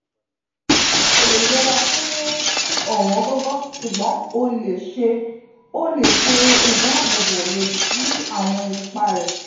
o ko le yera fun owongogo; sugbon o le ṣe o le ṣe idaabobo lodi si awọn ipa rẹ. um